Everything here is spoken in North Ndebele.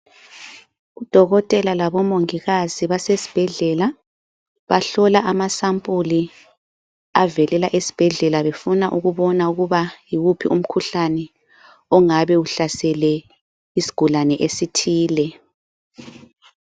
Udokotela labo mongikazi basesibhedlela bahlola amasampuli avelela esibhedlela befuna ukubona ukuba yiwuphi umkhuhlane ongabe uhlasele isigulane esithile.